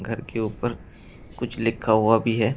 घर के ऊपर कुछ लिखा हुआ भी है।